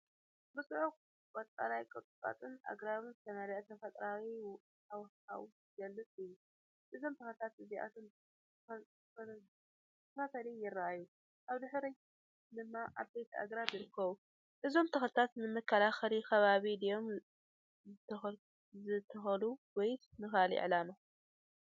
ብጽዑቕ ቀጠልያ ቁጥቋጥን ኣግራብን ዝተመልአ ተፈጥሮኣዊ ሃዋህው ዝገልጽ እዩ። እዞም ተኽልታት እዚኣቶም ብተኸታታሊ ይርኣዩ፣ ኣብ ድሕሪት ድማ ዓበይቲ ኣግራብ ይርከቡ። እዞም ተኽልታት ንመከላኸሊ ከባቢ ድዮም ዝተተኽሉ ወይስ ንኻልእ ዕላማ?